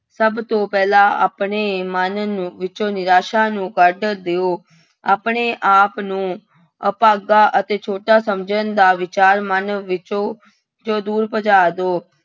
ਸਭ ਤੋਂ ਪਹਿਲਾਂ ਆਪਣੇ ਮਨ ਨੂੰ ਵਿਚੋਂ ਨਿਰਾਸਾ ਨੂੰ ਕੱਢ ਦਿਓ, ਆਪਣੇ ਆਪ ਨੂੰ ਅਭਾਗਾ ਅਤੇ ਛੋਟਾ ਸਮਝਣ ਦਾ ਵਿਚਾਰ ਮਨ ਵਿੱਚੋਂ ਚੋਂ ਦੂਰ ਭਜਾ ਦਓ।